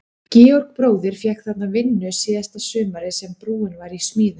Georg bróðir fékk þarna vinnu síðasta sumarið sem brúin var í smíðum.